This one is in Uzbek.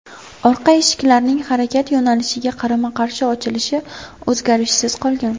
Orqa eshiklarning harakat yo‘nalishiga qarama-qarshi ochilishi o‘zgarishsiz qolgan.